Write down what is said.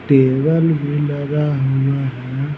Table भी लगा हुआ है।